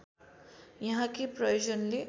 यहाँ के प्रयोजनले